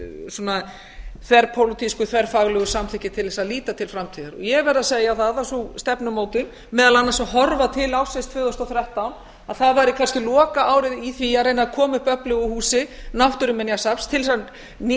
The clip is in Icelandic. svona þverpólitísku þverfaglegu samþykki til þess að líta til framtíðar ég verð að segjaþað að sú stefnumótun meðal annars að horfa til ársins tvö þúsund og þrettán væri kannski lokaárið í því að reyna að koma upp öflugu húsi náttúruminjasafns til þess að